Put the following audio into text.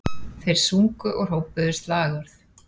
Þeir sungu og hrópuðu slagorð